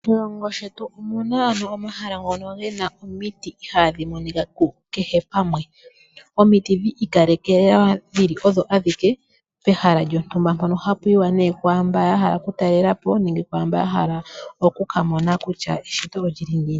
Moshilongo shetu omu na omahala moka mu na omiti ihaadhi monika kehe pamwe. Omiti dhi ikalekelwa dhi li odho adhike pehala lyontumba mpono hapu yiwa kwaa mbono ya hala okutalela po nenge kwaa mbono ya hala oku ka mona kutya eshito oli li ngiini.